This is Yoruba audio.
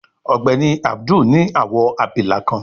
Ògbéni Abdul ní awọ abilà kán